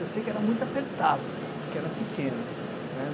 Eu sei que era muito apertado, cara, porque era pequena, né?